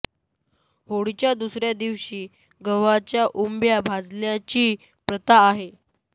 होळीच्या दुसऱ्या दिवशी गव्हांच्या ओंब्या भाजण्याची प्रथा आहे